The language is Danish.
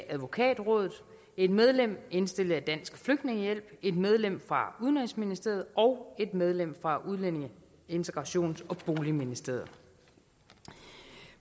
af advokatrådet et medlem indstillet af dansk flygtningehjælp et medlem fra udenrigsministeriet og et medlem fra udlændinge integrations og boligministeriet